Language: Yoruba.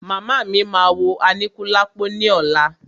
Màmá mí máa wo Aníkúlápò ní ọ̀la.